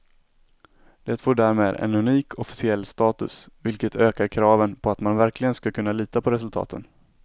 Det får därmed en unik officiell status, vilket ökar kraven på att man verkligen ska kunna lita på resultaten.